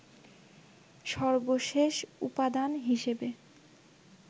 সর্বশেষ উপাদান হিসেবে